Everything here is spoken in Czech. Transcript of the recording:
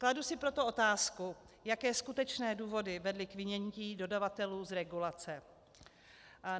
Kladu si proto otázku, jaké skutečné důvody vedly k vynětí dodavatelů z regulace.